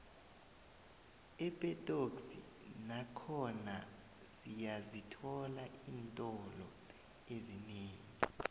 epetoxi nakhona siyazithola iintolo ezinengi